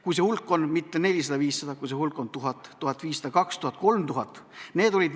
Kui see hulk on mitte 400–500, vaid kui see hulk on 1000, 1500, 2000, 3000?